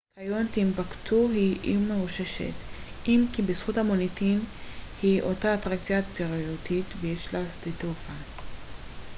כיום טימבוקטו היא עיר מרוששת אם כי בזכות המוניטין היא אותה אטרקציה תיירותית ויש לה שדה תעופה